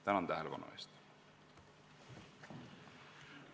Tänan tähelepanu eest!